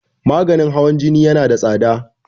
maganin hawan Jini yana da tsada